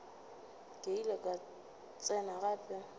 ke ile ka tsena gape